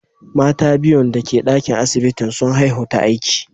Mata biyun dake dakin asibitin, sun haihu ta aiki.